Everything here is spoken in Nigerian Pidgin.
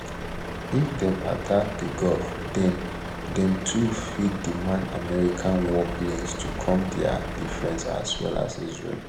if dem attack di gulf den dem too fit demand american warplanes to come to dia defence as well as israel